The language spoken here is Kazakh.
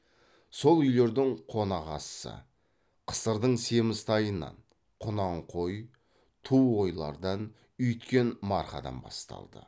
сол үйлердің қонақасысы қысырдың семіз тайынан құнан қой ту қойлардан үйіткен марқадан басталды